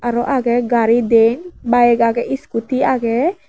arow agay gari diyen bayeg aagey iskuti aagey.